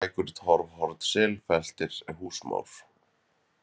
Blýgslækur, Torfhorn, Selfeltir, Húsmór